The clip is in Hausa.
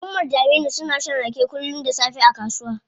Umar da Aminu suna shan rake kullum da safe a kasuwa.